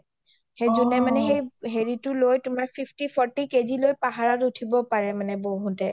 যোনে মানে তোমাৰ হেৰিটো লৈ fifty fourth কেজি টো লৈ পাহাৰত ওঠিব পাৰে বৈহুতে